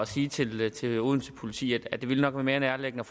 sige til til odense politi at det nok ville være mere nærliggende